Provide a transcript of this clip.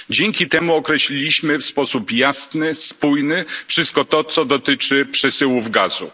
Dzięki temu określiliśmy w sposób jasny, spójny wszystko to co dotyczy przesyłów gazu.